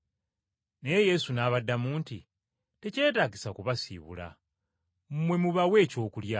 Naye Yesu n’abaddamu nti, “Tekyetaagisa kubasiibula, mmwe mubawe ekyokulya.”